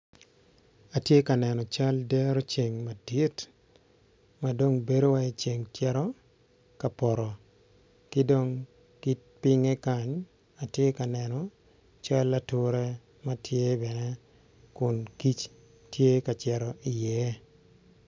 Atye ka neno cal dero ceng madit madong bedo calo ceng cito kapoto kidong kipinge kany atye ka neno cal ature matye bene kun kic tye ka cito i ye.